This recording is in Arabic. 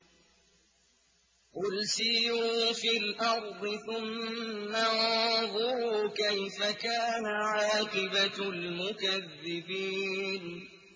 قُلْ سِيرُوا فِي الْأَرْضِ ثُمَّ انظُرُوا كَيْفَ كَانَ عَاقِبَةُ الْمُكَذِّبِينَ